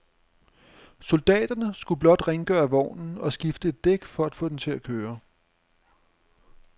Soldaterne skulle blot rengøre vognen og skifte et dæk for at få den til at køre.